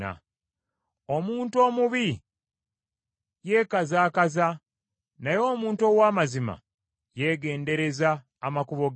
Omuntu omubi yeekazaakaza, naye omuntu ow’amazima yeegendereza amakubo ge.